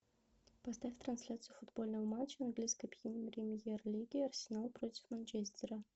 поставь трансляцию футбольного матча английской премьер лиги арсенал против манчестера